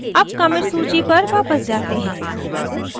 अब commit सूची पर वापस जाते हैं